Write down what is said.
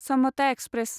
Samta express